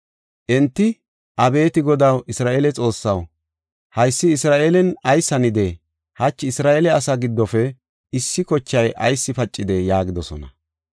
Enti, “Abeeti Godaw, Isra7eele Xoossaw, haysi Isra7eelen ayis hanidee? Hachi Isra7eele asaa giddofe issi kochay ayis pacidee?” yaagidosona.